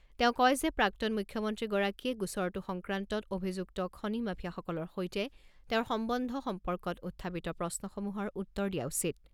তেওঁ কয় যে প্ৰাক্তন মুখ্যমন্ত্ৰীগৰাকীয়ে গোচৰটো সংক্ৰান্তত অভিযুক্ত খনি মাফিয়াসকলৰ সৈতে তেওঁৰ সম্বন্ধ সম্পৰ্কত উত্থাপিত প্ৰশ্নসমূহৰ উত্তৰ দিয়া উচিত।